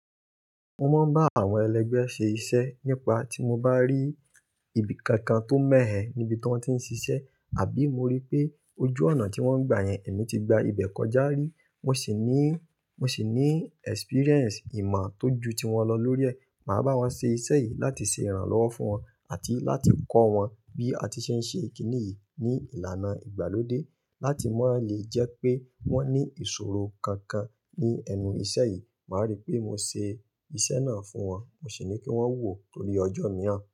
Mo máa ń bá àwọn ẹlẹgbẹ́ ṣe iṣẹ́ nípa tí mo bá rí ibi kankan tó mẹ́hẹ̀ níbi tí wọ́n ti ń ṣiṣẹ́ àbí mo rí pé ojú ọ̀nà tí wọ́n ń gba yẹn èmi ti gba ibẹ̀ kọjá rí, mo ṣì ní, mo ṣì ní experience, ìmọ̀ tó ju tí wọn lọ lórí ẹ̀, màá bá wọn ṣe iṣẹ́ yìí láti ṣe ìrànlọ́wọ́ fún wọn àti láti kọ́ wọn bí a ti ṣe ń ṣe kíni yìí ní ìlànà ìgbàlódé láti máa lè jẹ́ pé wọ́n ní ìṣòro kankan ní ẹnu iṣẹ́ yìí. Màá rí pé mo ṣe iṣẹ́ náà fún wọn, mo ṣì ní kí wọ́n wò tórí ọjọ́ mìíràn.